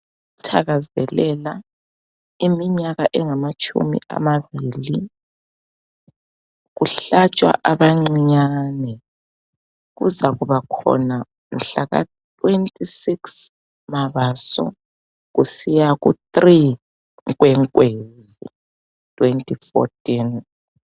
Ukuthakazelela iminyaka engamatshumi amabili kuhlatshwa abancinyane kuzakuba khona mhlaka 26 Mabaso kusiya ku 3 Nkwenkwezi 2014.